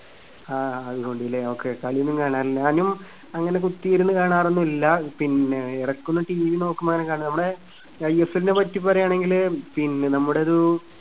ആ അതുകൊണ്ട് ഇല്ലേ okay കളിയൊന്നും കാണാറില്ല. ഞാനും അങ്ങനെ കുത്തിയിരുന്ന് കാണാറൊന്നും ഇല്ല. പിന്നെ എടക്കൊന്ന് TV നോക്കുമ്പോ എങ്ങാനും കാണും. നമ്മുടെ ഐഎസ്എൽനെ പറ്റി പറയാണെങ്കില് പിന്നെ നമ്മുടെ ഒരു